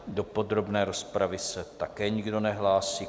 Do podrobné rozpravy se také nikdo nehlásí.